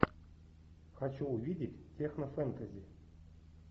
хочу увидеть технофэнтези